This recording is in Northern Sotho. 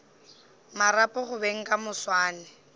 marapo go beng ka moswane